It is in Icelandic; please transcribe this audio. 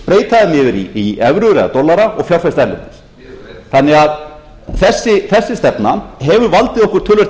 breyta þeim yfir í evrur eða dollara og fjárfesta erlendis þessi stefna hefur því valdið okkur